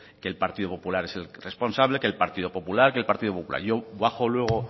que el partido popular es el responsable que el partido popular que el partido popular yo bajo luego